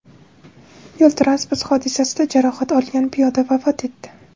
Yo‘l-transport hodisasida jarohat olgan piyoda vafot etdi.